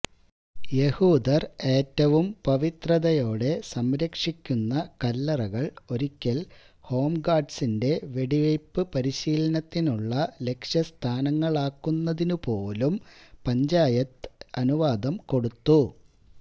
യഹൂദര് ഏറ്റവും പവിത്രതയോടെ സംരക്ഷിക്കുന്ന കല്ലറകള് ഒരിക്കല് ഹോം ഗാര്ഡ്സിന്റെ വെടിവയ്പ്പ് പരിശീലത്തിനുള്ള ലക്ഷ്യസ്ഥാനങ്ങളാക്കുന്നതിനുപോലും പഞ്ചായത്ത് അനുവാദം കൊടുത്തു